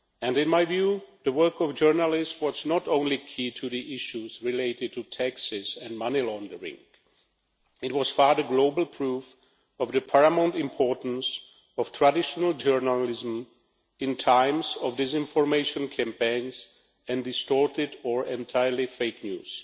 In my view, the work of journalists was not only key to the issues related to taxes and money laundering, but it was part of global proof of the paramount importance of traditional journalism in times of disinformation campaigns and distorted or entirely fake news.